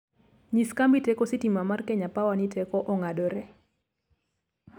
nyis kambi teko sitima mar kenya power ni teko ong'adore